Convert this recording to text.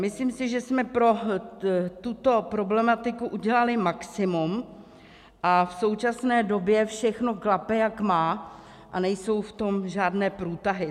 Myslím si, že jsme pro tuto problematiku udělali maximum, a v současné době všechno klape, jak má, a nejsou v tom žádné průtahy.